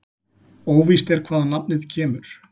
Óvíst er hvaðan nafnið kemur.